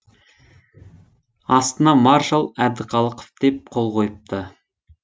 астына маршал әбдіқалықов деп қол қойыпты